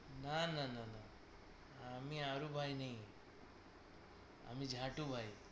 না না না আমি হারু ভাই নেই, আমি ঝাটু ভাই